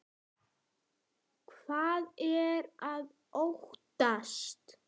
Hvað er að óttast?